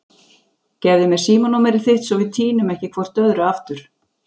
Gefðu mér símanúmerið þitt svo við týnum ekki hvort öðru aftur.